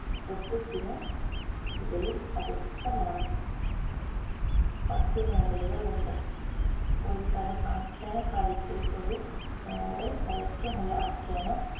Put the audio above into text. ഗദ്യത്തിനും ഇടയിൽ അവ്യക്തമാണ് പദ്യ നോവലുകളുണ്ട് ഒരുതരം ആഖ്യാനകാവ്യത്തിൽ ഒരു നോവൽ ദൈർഘ്യമുള്ള ആഖ്യാന